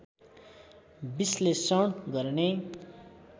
विश्लेषण गर्ने